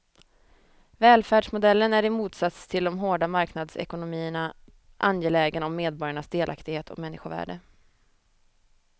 Välfärdsmodellen är i motsats till de hårda marknadsekonomierna angelägen om medborgarnas delaktighet och människovärde.